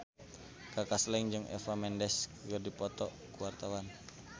Kaka Slank jeung Eva Mendes keur dipoto ku wartawan